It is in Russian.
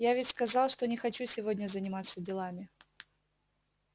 я ведь сказал что не хочу сегодня заниматься делами